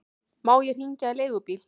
Má ég hringja á leigubíl?